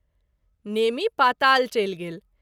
नेमि पाताल चलि गेल।